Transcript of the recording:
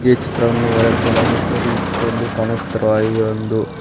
ಈ ಚಿತ್ರವನ್ನು ಹೊರಡಾತಿಲ ಇದು ಸರಿ ಚಿತ್ರದಲ್ಲಿ ಕಾನಸ್ತಿರುವ ಇದ ಒಂದು--